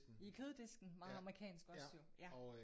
I køddisken. Meget amerikansk også jo ja